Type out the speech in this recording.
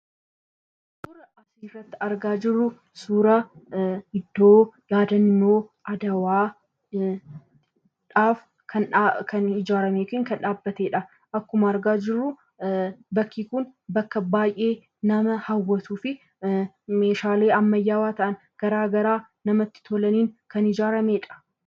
Suuraan asirratti argaa jirru suuraa iddoo yaadannoo adawaadhaaf kan ijaarame yookaan kan dhaabbatedha. Bakki kun bakka baay'ee nama hawwatuufi meeshaalee ammayyaawaa ta'an garaagaraa namatti tolaniin kan ijaaramedha.